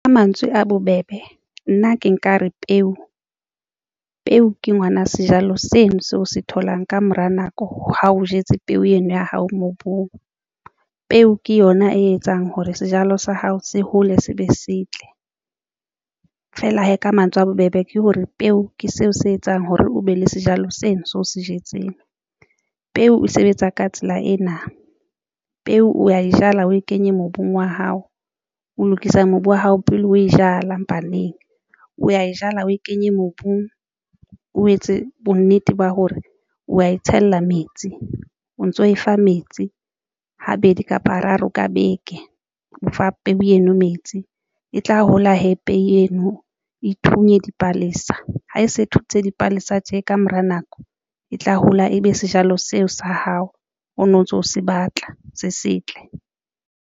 Ka mantswe a bobebe nna ke nkare peo. Peo ke ngwana sejalo seno seo o se tholang ka mora nako ha o jetse peo eno ya hao mobung. Peo ke yona e etsang hore sejalo sa hao se hole se be se tle feela hee ka mantswe a bobebe ke hore peo ke seo se etsang hore o be le sejalo sena seo o se jetseng, peo e sebetsa ka tsela ena, peo o ya di jala, o e kenye mobung wa hao, o lokisa mobu wa hao pele o e jala mpaneng o ya e jala, o e kenye mobung. O etse bonnete ba hore o wa e tshela metsi o ntso e fa metsi habedi kapa hararo ka beke, o fa peo eno metsi e tla hola hape eno e thunya dipalesa ha e se thuntse dipalesa tje ka mora nako e tla hola, ebe sejalo seo sa hao o no ntso se batla se setle.